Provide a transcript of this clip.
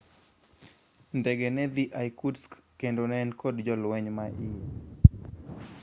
ndege nedhi irkutsk kendo ne en kod jolweny ma iye